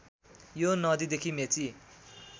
यो नदीदेखि मेची